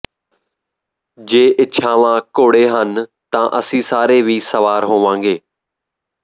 ਜੇ ਇਛਾਵਾਂ ਘੋੜੇ ਹਨ ਤਾਂ ਅਸੀਂ ਸਾਰੇ ਹੀ ਸਵਾਰ ਹੋਵਾਂਗੇ